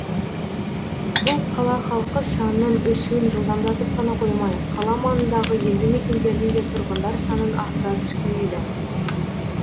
бұл қала халқы санының өсуін жылдамдатып қана қоймай қала маңындағы елді мекендердің де тұрғындар санын арттыра түскен еді